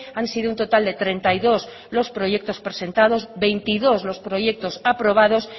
han sido un total de treinta y dos los proyectos presentados veintidós los proyectos aprobados